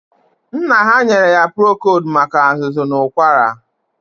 Nna ha nyere ha prokod maka azụzụ na ụkwara.